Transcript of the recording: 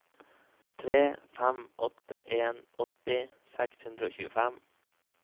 tre fem åtte en åtti seks hundre og tjuefem